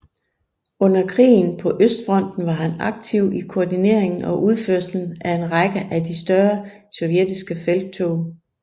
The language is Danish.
Under krigen på østfronten var han aktiv i koordineringen og udførelsen af en række af de større sovjetiske felttog